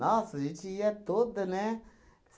Nossa, a gente ia toda, né?